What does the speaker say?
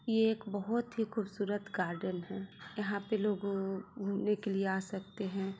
ये बोहोत ही खूबसूरत गार्डन है जहा पे लोग घूमने के लिए आ सकते है।